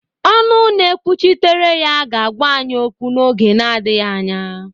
ọnụ na-ekwuchitere ya ga-agwa anyị okwu n'oge na-adịghị anya